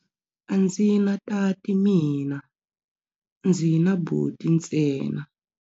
A ndzi na tati mina, ndzi na buti ntsena.